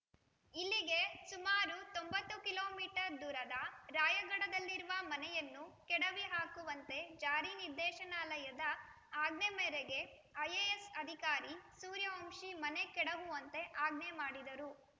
ಇಲ್ಲಿಗೆ ಸುಮಾರು ತೊಂಬತ್ತು ಕಿಲೋ ಮೀಟರ್ ದೂರದ ರಾಯಘಡದಲ್ಲಿರುವ ಮನೆಯನ್ನು ಕೆಡವಿಹಾಕುವಂತೆ ಜಾರಿ ನಿರ್ದೇಶನಾಲಯ ದ ಆಜ್ಞೆ ಮೇರೆಗೆ ಐ‌ಎ‌ಎಸ್ ಅಧಿಕಾರಿ ಸೂರ್ಯವಂಶಿ ಮನೆ ಕೆಡಹುವಂತೆ ಆಜ್ಞೆ ಮಾಡಿದರು